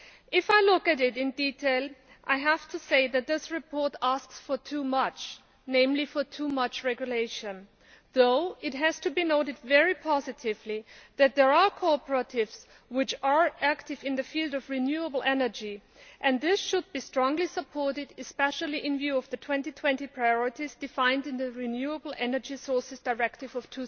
If I look at it in detail, I have to say that this report asks for too much, namely for too much regulation, although it has to be noted very positively that there are cooperatives which are active in the field of renewable energy. They should be strongly supported, especially in view of the 2020 priorities defined in the Renewable Energy Sources Directive of